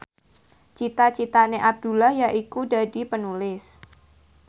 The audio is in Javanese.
cita citane Abdullah yaiku dadi Penulis